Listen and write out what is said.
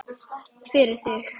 Fyrir þig.